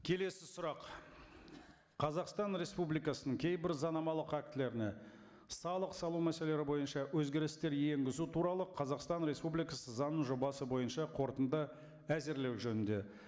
келесі сұрақ қазақстан республикасының кейбір заңнамалық актілеріне салық салу мәселелері бойынша өзгерістер енгізу туралы қазақстан республикасы заңының жобасы бойынша қорытынды әзірлеу жөнінде